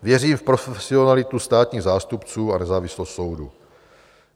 Věřím v profesionalitu státních zástupců a nezávislost soudu.